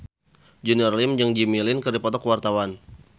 Junior Liem jeung Jimmy Lin keur dipoto ku wartawan